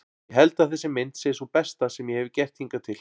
Ég held að þessi mynd sé sú besta sem ég hefi gert hingað til.